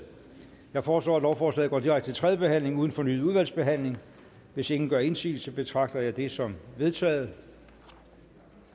jeg foreslår at lovforslaget går direkte til tredje behandling uden fornyet udvalgsbehandling hvis ingen gør indsigelse betragter jeg det som vedtaget